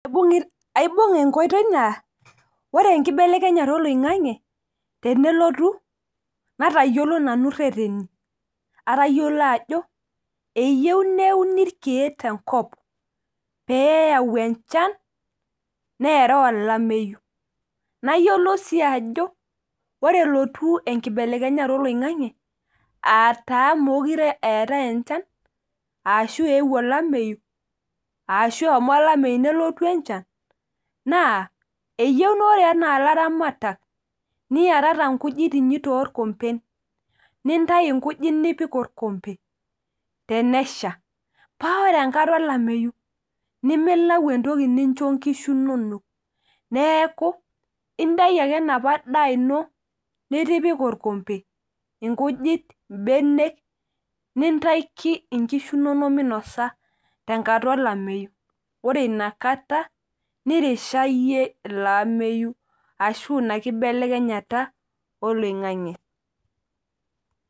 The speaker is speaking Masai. Aibung'a enkoitoi naa ore enkibelekenyata oloingang'e tenelotu natayiolo nani ireteni. atayiolo ajo, eyieu neuni irkeek te nkop, pee eyau enchan neeta olameyu. nayioolou sii ajo, ore nelotu enkibelekenyata oloingang'e aataa meekure eetae enchan. ashu eewuo olameyu, ashu eshomo olameyu nelotu enchan. naa eyieu naa ore ilaramatak niyatata nkujit inyi toorkompen. nintayu nkujit nipik orkompe tenesha. paa ore enkata olameyu nimilau entoki nincho nkishu nonok. neeku intayu ake enapa daa ino nitipika olkompe inkujit ,ibenek, nintaiki nkishu inonok minosa tenkata olameyu. ore inakata. norisha iyie ilo ametuma ashu Ina kibelekenyata oloingang'e.